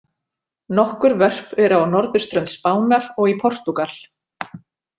Nokkur vörp eru á norðurströnd Spánar og í Portúgal.